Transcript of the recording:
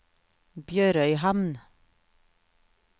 BjørØyhamn